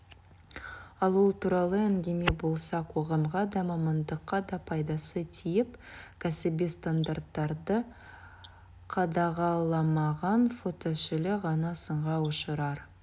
ал ол туралы әңгіме болса қоғамға да мамандыққа да пайдасы тиіп кәсіби стандарттарды қадағаламаған фототілші ғана сынға ұшырар